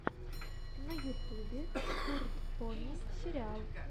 на ютубе турд пони сериал